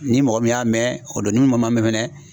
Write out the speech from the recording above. Ni mɔgɔ min y'a mɛn o don n'u ma mɛn mɛnɛ